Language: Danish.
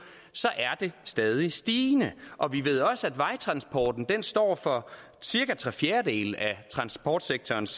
så er det stadig stigende og vi ved også at vejtransporten står for cirka tre fjerdedele af transportsektorens